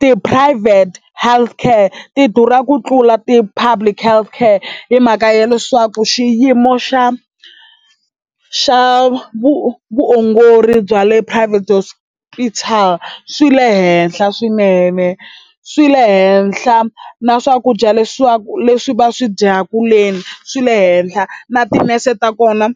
Ti-private healthcare ti durha ku tlula ti-public health care hi mhaka ya leswaku xiyimo xa xa vu vuongori bya le private hospital swi le henhla swinene swi le henhla na swakudya leswaku leswi va swi dyaka leni swi le henhla na tinese ta kona